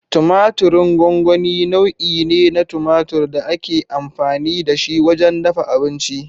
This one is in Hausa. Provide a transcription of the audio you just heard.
Tumatirin gongoni nau'i ne na tumatur da ake amfani da shi wajen dafa abinci.